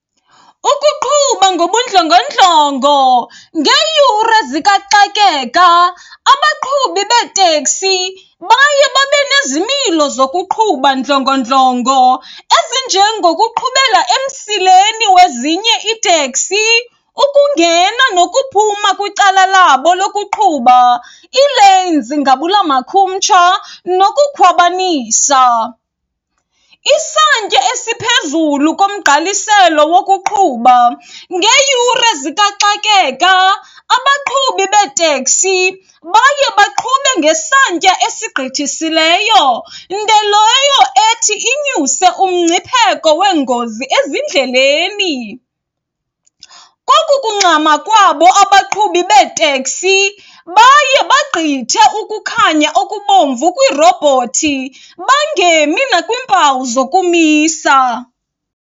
Ukuqhuba ngobundlongondlongo, ngeeyure zikaxakeka abaqhubi beeteksi baye babe nezimilo zokuqhuba ndlongondlongo ezinjengokuqhubela emsileni wezinye iiteksi, ukungena nokuphuma kwicala labo lokuqhuba, ii-lanes ngabula makhumtsha nokukhwabanisa. Isantya esiphezulu komgqalisela wokuqhuba, ngeeyure zikaxakeka abaqhubi beeteksi baye baqhube ngesantya esigqithisileyo, nto leyo ethi inyuse umngcipheko weengozi ezindleleni. Koku kungxama kwabo abaqhubi beeteksi baye bagqithe ukukhanya okubomvu kwiirobhothi, bangemi nakwiimpawu zokumisa.